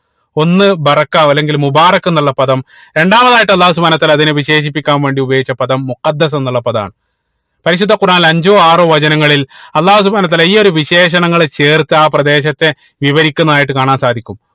ഒന്ന് അല്ലെങ്കിൽ എന്നുള്ള പദം രണ്ടാമതായിട്ട് അള്ളാഹു സുബ്‌ഹാനഉ വതാ ല അതിനെ വിശേഷിപ്പിക്കാൻ വേണ്ടി ഉപയോഗിച്ച പദം എന്നുള്ള പദം ആണ് പരിശുദ്ധ ഖുറാനിൽ അഞ്ചോ ആറോ വചനങ്ങളിൽ അള്ളാഹു സുബ്‌ഹാനഉ വതാല ഈ ഒരു വിശേഷണങ്ങളെ ചേർത്ത് ആഹ് പ്രദേശത്തെ വിവരിക്കുന്നതായിട്ട് കാണാൻ സാധിക്കും